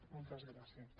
moltes gràcies